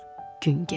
gün gedir.